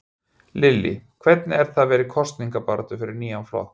Lillý: Hvernig er það vera í kosningabaráttu fyrir nýjan flokk?